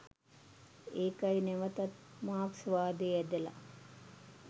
"ඒකයි නැවතත් මාක්ස්වාදේ ඇඳලා